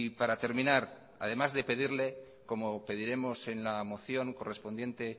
para terminar además de pedirle como pediremos en la moción correspondiente